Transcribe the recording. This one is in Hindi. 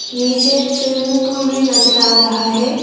नीचे स्विमिंग पूल भी नजर आ रहा है।